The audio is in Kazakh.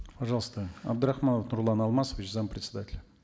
пожалуйста абдрахман нурлан алмасович зампредседателя